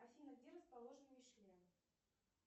афина где расположен мишлен